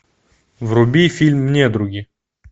вруби фильм недруги